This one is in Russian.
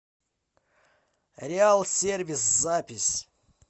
реал сервис запись